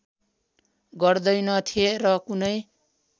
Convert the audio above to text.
गर्दैनथे र कुनै